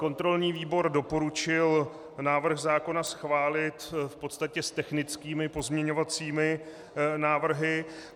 Kontrolní výbor doporučil návrh zákona schválit v podstatě s technickými pozměňovacími návrhy.